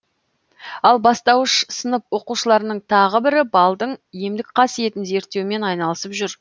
ал бастауыш сынып оқушыларының тағы бірі балдың емдік қасиетін зерттеумен айналысып жүр